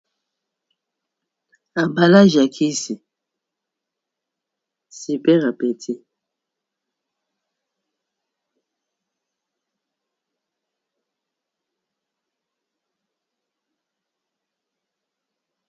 Emballage ya Kisi super appétit.